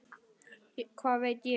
Hvað veit ég?